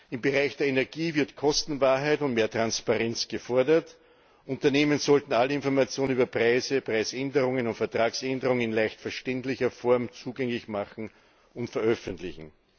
Im Bereich der Energie wird Kostenwahrheit und mehr Transparenz gefordert Unternehmen sollten alle Informationen über Preise, Preisänderungen und Vertragsänderungen in leicht verständlicher Form zugänglich machen und veröffentlichen.